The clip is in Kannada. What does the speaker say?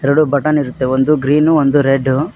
ಎರಡು ಬಟನ್ ಇರುತ್ತೆ ಒಂದು ಗ್ರೀನು ಒಂದು ರೆಡ್ಡು .